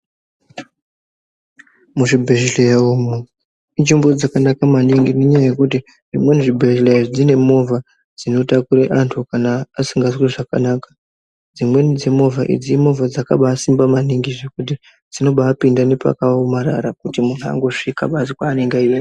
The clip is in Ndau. Muzvibhehleya imu inzvimbo dzakanaka maningi ngenyaya zvimweni zvibhehleya zvine movha dzinotakure antu kana asingazwi zvakanaka. Dzimweni dzemovha idzi imovha dzakambasimba maningi ngekuti dzinombapinda pakaomarara kuti muntu anosvika kwaanenge achienda.